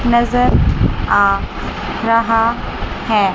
नजर आ रहा है।